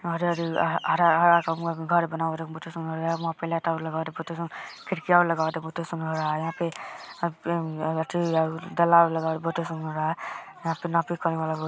हरियर ह हरा हरा कलर के घर बहुते सुंदर वहां पे